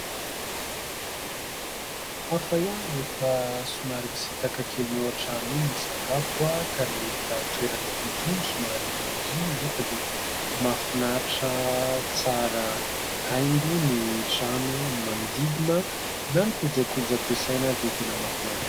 Hafa ihany rehefa somary misitaka kely ny eo an-trano iny hisakafo ka nahita toerana toy itony somary mangina anefa dia mahafinaritra tsara haingo ny trano, ny manodidina na ny kojakoja ampiasaina ary dia tena mahafinaritra.